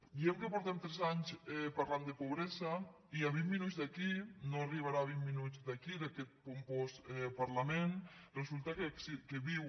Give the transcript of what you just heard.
diem que fa tres anys que parlem de pobresa i a vint minuts d’aquí no arribarà a vint minuts d’aquí d’aquest pompós parlament resulta que viu